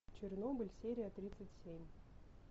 чернобыль серия тридцать семь